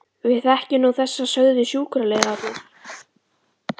Við þekkjum nú þessa, sögðu sjúkraliðarnir.